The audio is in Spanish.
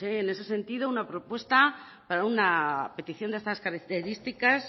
en ese sentido una propuesta para una petición de estas características